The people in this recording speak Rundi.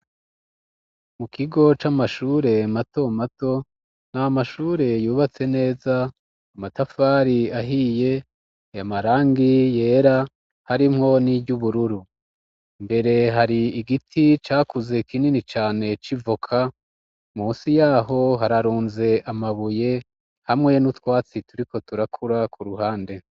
Mu kigo c'amashure mato mato ni amashure yubatse neza amatafari ahiye amarangi yera harimwo n'iryubururu mbere hari igiti cakuze kinini cane c'ivoka munsi yaho hararunze amabuye hamwe n'utwatsi turiko turakura ku ruhande.